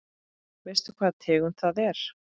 Veistu hvaða tegund það er?